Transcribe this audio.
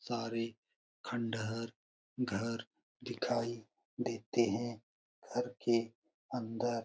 सारे खंडहर घर दिखाई देते है घर के अंदर --